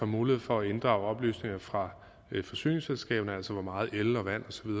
mulighed for at inddrage oplysninger fra forsyningsselskaber altså hvor meget el vand